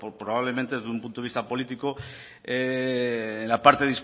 probablemente desde un punto de vista político en la parte